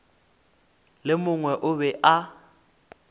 le mongwe o be a